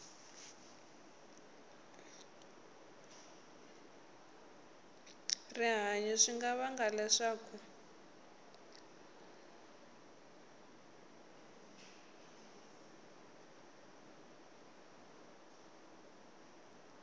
rihanyu swi nga vanga leswaku